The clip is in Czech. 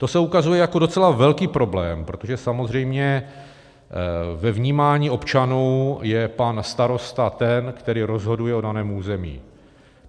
To se ukazuje jako docela velký problém, protože samozřejmě ve vnímání občanů je pan starosta ten, který rozhoduje o daném území.